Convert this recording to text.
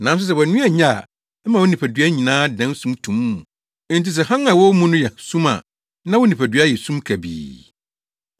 Nanso sɛ wʼaniwa nye a, ɛma wo nipadua no nyinaa dan sum tumm. Enti sɛ hann a ɛwɔ wo mu no yɛ sum a, na wo nipadua no yɛ sum kabii.